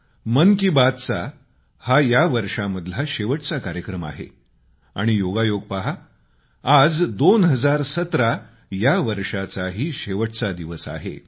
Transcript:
मन की बातचा हा या वर्षामधला शेवटचा कार्यक्रम आहे आणि योगायोग पहा आज 2017 या वर्षाचाही शेवटचा दिवस आहे